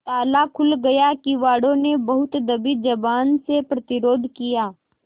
ताला खुल गया किवाड़ो ने बहुत दबी जबान से प्रतिरोध किया